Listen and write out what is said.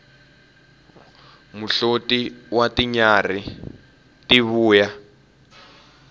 muhloti wa tinyarhi ti vuya